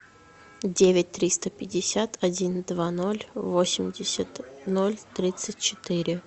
девять триста пятьдесят один два ноль восемьдесят ноль тридцать четыре